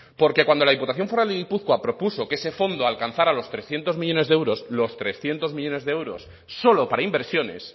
porque cuando la diputación foral de guipúzcoa propuso que ese fondo alcanzara los trescientos millónes de euros los trescientos millónes de euros solo para inversiones